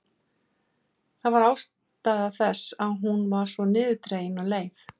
Það var ástæða þess að hún var svo niðurdregin og leið.